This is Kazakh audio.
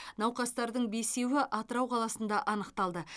науқастардың бесеуі атырау қаласында анықталды